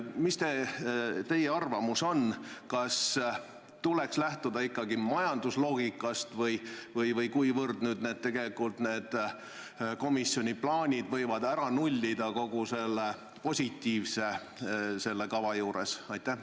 Mida teie arvate, kas lähtuda tuleks ikkagi majandusloogikast ja kas komisjoni plaanid võivad nullida kogu selle positiivse, mis selle kava juures on?